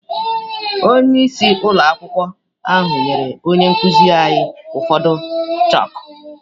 Onyeisi ụlọ akwụkwọ ahụ nyere onye nkụzi anyị ụfọdụ chakụ.